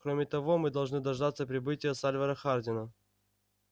кроме того мы должны дождаться прибытия сальвора хардина